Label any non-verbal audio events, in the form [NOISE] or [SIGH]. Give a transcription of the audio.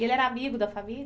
E ele era amigo da [UNINTELLIGIBLE]